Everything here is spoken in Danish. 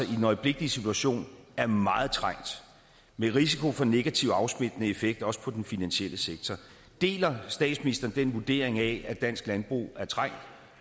den øjeblikkelige situation er meget trængt med risiko for negativ afsmittende effekt også for den finansielle sektor deler statsministeren den vurdering at dansk landbrug er trængt